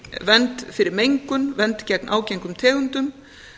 vernd fyrir mengun vernd gegn ágengum tegundum